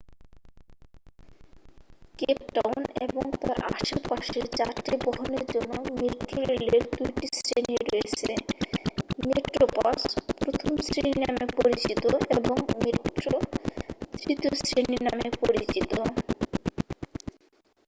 Cape Town এবং তার আশেপাশের যাত্রীবহনের জন্য মেট্রোরেলের ২ টি শ্রেণি রয়েছে: মেট্রোপ্লাস প্রথম শ্রেণি নামেও পরিচিত এবং মেট্রো তৃতীয় শ্রেণি নামে পরিচিত।